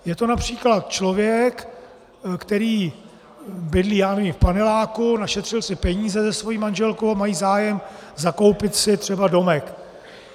Je to například člověk, který bydlí, já nevím, v paneláku, našetřil si peníze se svou manželkou a mají zájem zakoupit si třeba domek.